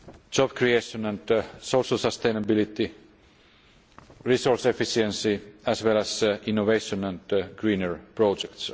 job creation and social sustainability, resource efficiency as well as innovation and greener projects.